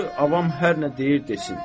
Qoy avam hər nə deyir, desin.